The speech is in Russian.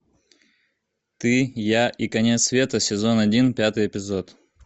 ты я и конец света сезон один пятый эпизод